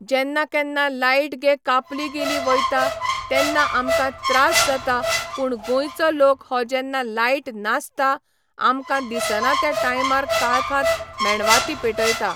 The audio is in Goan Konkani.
जेन्ना केन्ना लायट गे कापली गेली वयता तेन्ना आमकां त्रास जाता पूण गोंयचो लोक हो जेन्ना लायट नासता आमकां दिसना ते टायमार काळखांत मेणवातीं पेटयता